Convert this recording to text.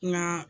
Nka